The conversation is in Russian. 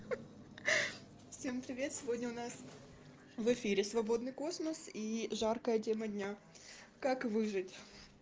всем привет сегодня у нас в эфире свободный космос и жаркая тема дня как выжить